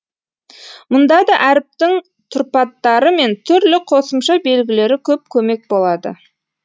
мұнда да әріптің тұрпаттары мен түрлі қосымша белгілері көп көмек болады